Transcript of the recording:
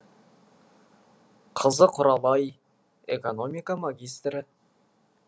қызы құралай экономика магистрі